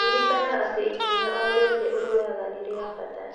Ririkana atĩ ikinya o rĩothe ũrĩoyaga nĩ rĩa bata.